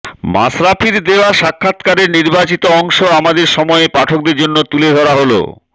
মাশরাফির দেওয়া সাক্ষাৎকারের নির্বাচিত অংশ আমাদের সময়ের পাঠকদের জন্য তুলে ধরা হলো